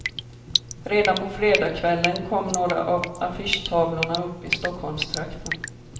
Redan på fredagskvällen kom några av affischtavlorna upp i stockholmstrakten.